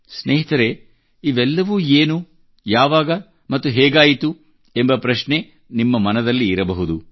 ಸ್ನೇಹಿತರೇ ಇವೆಲ್ಲವೂ ಏನು ಯಾವಾಗ ಮತ್ತು ಹೇಗಾಯಿತು ಎಂಬ ಪ್ರಶ್ನೆ ನಿಮ್ಮ ಮನದಲ್ಲಿರಬಹುದು